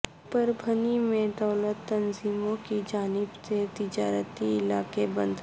پربھنی میں دلت تنظیموں کی جانب سے تجارتی علاقہ بند